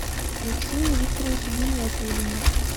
алексее викторовиче гиниятуллине